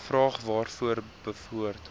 vraag waaroor behoort